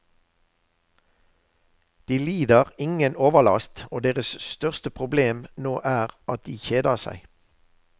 De lider ingen overlast, og deres største problem nå er at de kjeder seg.